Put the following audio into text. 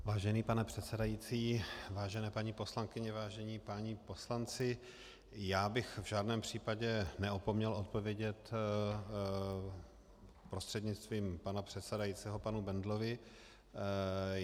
Vážený pane předsedající, vážené paní poslankyně, vážení páni poslanci, já bych v žádném případě neopomněl odpovědět prostřednictvím pana předsedajícího panu Bendlovi.